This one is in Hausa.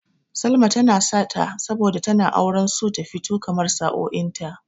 Salma tana sata saboda tana auren so ta fito kamar sa'o'in ta.